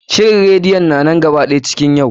Shirin radeyon na nan gaba ɗaya cikin yau.